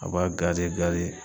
A b'a